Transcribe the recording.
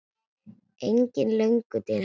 Engin löngun til hennar.